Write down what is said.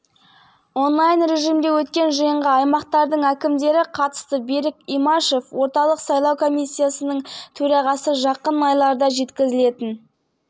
алматы қазан қаз сауд арабиясы ханшайымы рима бинт бандар әл-сауд джиддада корольдіктің тарихында алғаш рет әйелдерге арналған фитнес-орталықты ашты деп хабарлайды